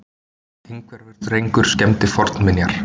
Einhverfur drengur skemmdi fornminjar